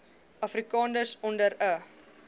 afrikaners onder n